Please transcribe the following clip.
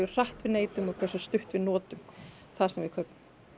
hratt við neytum og hversu stutt við notum það sem við kaupum